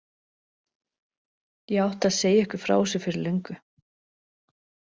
Ég átti að segja ykkur frá þessu fyrir löngu.